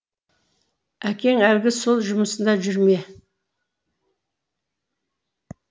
әкең әлгі сол жұмысында жүр ме